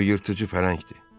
O yırtıcı pələngdir.